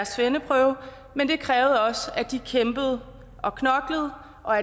svendeprøve men det krævede også at de kæmpede og knoklede og